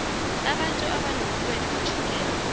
abantu abanobulwele betjhukela